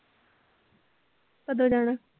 ਕਦੋਂ ਜਾਣਾ?